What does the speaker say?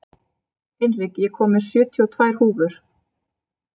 Hinrik, ég kom með sjötíu og tvær húfur!